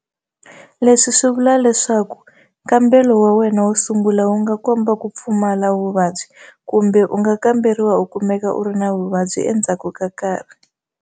Leswi swi vula leswaku nkambelo wa wena wo sungula wu nga komba ku pfumala vuvabyi, kambe u nga kamberiwa u kumeka u ri na vuvabyi endzhaku ka nkarhi.